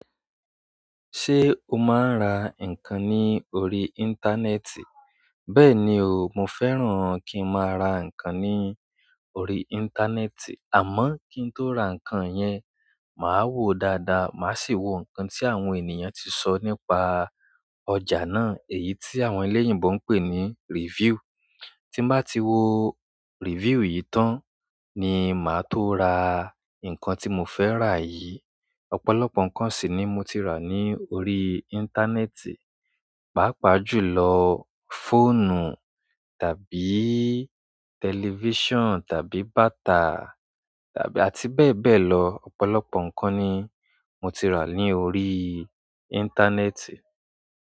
Ṣé o máa ń ra nǹkan ní orí íńtánẹ́ẹ̀tì? Bẹ́ẹ̀ni o, mo fẹ́ràn kí n máa ra nǹkan ní orí íńtánẹ́ẹ̀tì. Àmọ́ kí n tó ra nǹkan yẹn, màá wò dáadáa, màá sì wo nǹkan tí àwọn ènìyàn ti so nípa ọjà náà, èyí tí àwọn eléyìnbó ń pè ní review. Tí mbá ti wo review yìí tán ni màá tó ra nǹkan tí mo fẹ́ rà yìí. Ọ̀pọ̀lọpọ̀ nǹkan sì ni mo ti rà ní orí íńtánẹ́ẹ̀tì, pàápàá jùlọ fóònù tàbí tẹlifíṣàn tàbí bàtà tàbí àti bẹ́ẹ̀ bẹ́ẹ̀ lọ. Ọ̀pọ̀lọpọ̀ nǹkan ni mo ti rà ní orí íńtánẹ́ẹ̀tì.